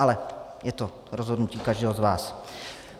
Ale je to rozhodnutí každého z vás.